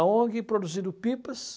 A ONG produzindo pipas